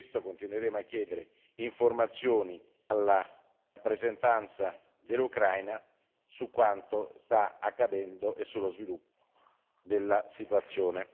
Per questo continueremo a chiedere informazioni alla rappresentanza dell'Ucraina su quanto sta accadendo e sull'evoluzione della situazione.